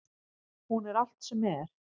Hún er allt sem er.